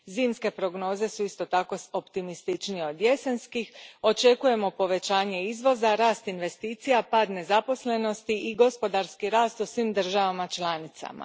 Zimske prognoze isto su tako optimističnije od jesenskih, očekujemo povećanje izvoza, rast investicija, pad nezaposlenosti i gospodarski rast u svim državama članicama.